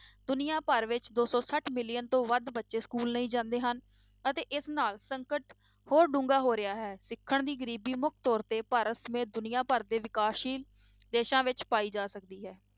ਦੁਨੀਆਂ ਭਰ ਵਿੱਚ ਦੋ ਸੌ ਛੱਠ million ਤੋਂ ਵੱਧ ਬੱਚੇ school ਨਹੀਂ ਜਾਂਦੇ ਹਨ, ਅਤੇ ਇਸ ਨਾਲ ਸੰਕਟ ਹੋਰ ਡੂੰਘਾ ਹੋ ਰਿਹਾ ਹੈ, ਸਿੱਖਣ ਦੀ ਗਰੀਬੀ ਮੁੱਖ ਤੌਰ ਤੇ ਭਾਰਤ ਸਮੇਤ ਦੁਨੀਆਂ ਭਰ ਦੇ ਵਿਕਾਸਸ਼ੀਲ ਦੇਸਾਂ ਵਿੱਚ ਪਾਈ ਜਾ ਸਕਦੀ ਹੈ।